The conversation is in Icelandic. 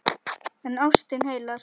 En ástin heilar!